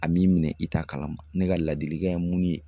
A b'i minɛ i t'a kalama, ne ka ladilikan ye mun ye.